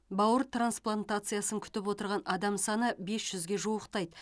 бауыр трансплантациясын күтіп отырған адам саны бес жүзге жуықтайды